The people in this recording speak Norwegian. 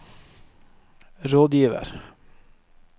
rådgiver